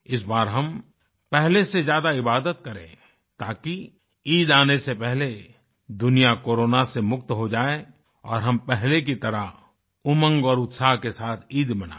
इस बार हम पहले से ज्यादा इबादत करें ताकि ईद आने से पहले दुनिया कोरोना से मुक्त हो जाये और हम पहले की तरह उमंग और उत्साह के साथ ईद मनायें